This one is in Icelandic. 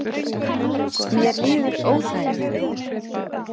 Mér líður óþægilega